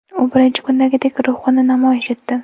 U birinchi kundagidek ruhni namoyish etdi.